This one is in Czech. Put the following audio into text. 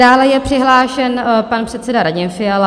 Dále je přihlášen pan předseda Radim Fiala.